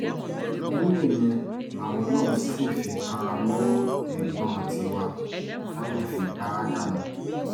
ìbínú ìyẹn làwọn náà sì fi kanra mọ́ ẹ̀gbọ́n tiwa táwọn fi pa á dànù